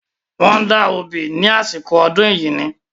Wọ́n da obì ní àsìkò ọdún Ẹ̀yíní.